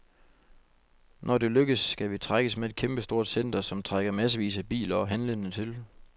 Når det lykkes, skal vi trækkes med et kæmpestort center, som trækker massevis af biler og handlende til.